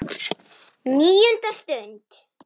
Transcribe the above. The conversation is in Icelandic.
NÍUNDA STUND